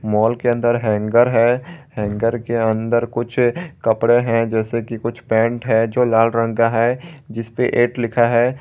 माल के अंदर हैंगर है हैंगर के अंदर कुछ कपड़े हैं जैसे कि कुछ पैंट है जो लाल रंग का है जिस पे एट लिखा है।